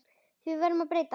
Því verður að breyta.